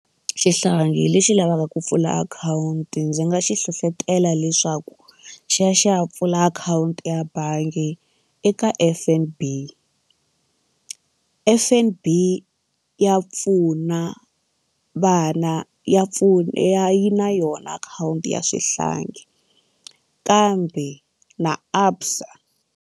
Xihlangi lexi lavaka ku pfula akhawunti ndzi nga xi hlohlotelo leswaku xi ya xi ya pfula akhawunti ya bangi eka F_N_B. F_N_B ya pfuna vana ya pfuna ya yi na yona akhawunti ya swihlangi kambe na ABSA.